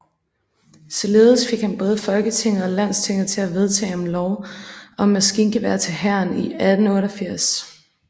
Således fik han både Folketinget og Landstinget til at vedtage om lov om magasingeværer til hæren i 1888